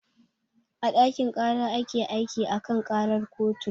A ɗakin ƙara ake aiki a kan ƙarar kotu